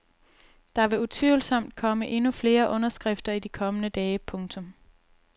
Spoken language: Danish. Der vil utvivlsomt komme endnu flere underskrifter i de kommende dage. punktum